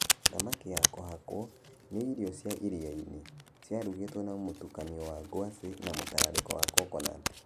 Thamaki ya kũhakwo, nĩ irio cia iria-inĩ, ciarugĩtwo na mũtukanio wa ngwacĩ na mũtararĩko wa coconut.